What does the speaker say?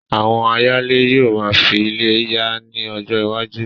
Àwọn ayálé yóò máa fí ilé yá ní ọjọ iwájú